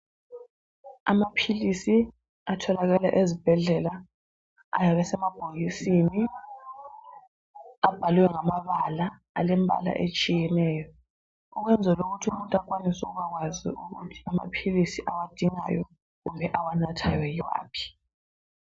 Amaphilisi atholakala ezibhedlela ayebe semabhokisini abhalwe ngamabala elembala etshiyeneyo, ukwezela ukuthi umuntu akwanise ukubakwazi ukuthi amaphilisi awadingayo kumbe awanathayo yiwaphi.